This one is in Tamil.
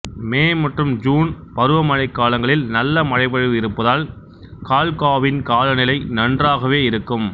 மே மற்றும் ஜூன் பருவமழைக்காலங்களில் நல்ல மழைப்பொழிவு இருப்பதால் கால்காவின் காலநிலை நன்றாகவே இருக்கும்